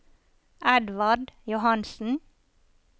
Edvard Johansen